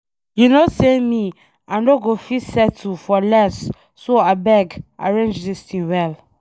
You no say me I nọ go fit settle for less so abeg arrange dis thing well.